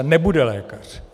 A nebude lékař!